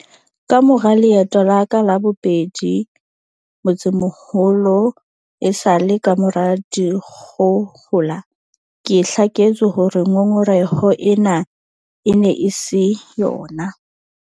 Kamora leeto la ka la bobedi motsemoholo esale kamora dikgohola, ke hlaketswe hore ngongoreho ena e ne e se yona.